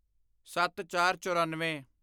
ਸੱਤਚਾਰਚੋਰਨਵੇਂ